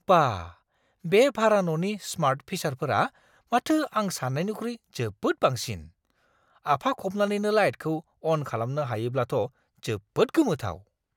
बा, बे भारा न'नि स्मार्ट फिचारफोरा माथो आं सान्नायनिख्रुइ जोबोद बांसिन। आफा खबनानैनो लाइटखौ अन खालामनो हायोब्लाथ' जोबोद गोमोथाव।